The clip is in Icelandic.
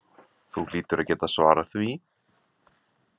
Þú hlýtur að geta svarað því